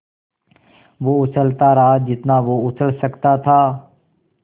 वो उछलता रहा जितना वो उछल सकता था